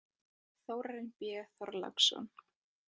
Þórarinn B Þorláksson.